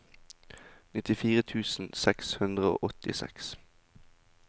nittifire tusen seks hundre og åttiseks